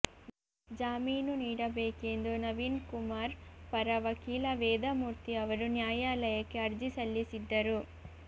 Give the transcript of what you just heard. ಜಾಮೀನು ನೀಡಬೇಕೆಂದು ನವೀನ್ಕುಮಾರ್ ಪರ ವಕೀಲ ವೇದಮೂರ್ತಿ ಅವರು ನ್ಯಾಯಾಲಯಕ್ಕೆ ಅರ್ಜಿ ಸಲ್ಲಿಸಿದ್ದರು